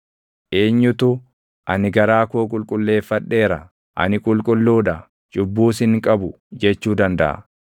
Eenyutu, “Ani garaa koo qulqulleeffadheera; ani qulqulluu dha; cubbuus hin qabu” jechuu dandaʼa?